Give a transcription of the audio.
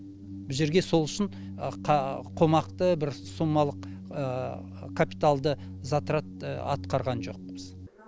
бұл жерге сол үшін қомақты бір сумалық капиталды затрат атқарған жоқпыз